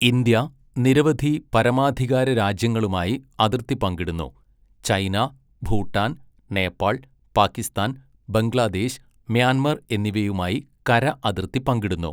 India നിരവധി പരമാധികാര രാജ്യങ്ങളുമായി അതിർത്തി പങ്കിടുന്നു, ചൈന, ഭൂട്ടാൻ, നേപ്പാൾ, പാകിസ്ഥാൻ, ബംഗ്ലാദേശ്, മ്യാൻമർ എന്നിവയുമായി കര അതിർത്തി പങ്കിടുന്നു.